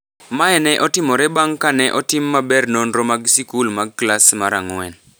Mae ne otimore bang’ ka ne otim maber nonro mag sikul mag klas mar ang’wen